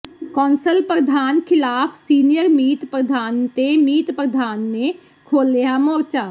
council ਪ੍ਰਧਾਨ ਖ਼ਿਲਾਫ senior ਮੀਤ ਪ੍ਰਧਾਨ ਤੇ ਮੀਤ ਪ੍ਰਧਾਨ ਨੇ ਖੋਲ੍ਹਿਆ ਮੋਰਚਾ